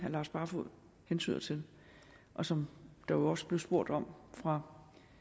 lars barfoed hentyder til og som der også blev spurgt om fra